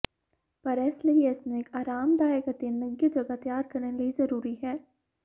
ਪਰ ਇਸ ਲਈ ਇਸ ਨੂੰ ਇੱਕ ਆਰਾਮਦਾਇਕ ਅਤੇ ਨਿੱਘੇ ਜਗ੍ਹਾ ਤਿਆਰ ਕਰਨ ਲਈ ਜ਼ਰੂਰੀ ਹੈ